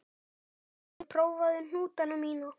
Prófaðu mig, prófaðu hnútana mína.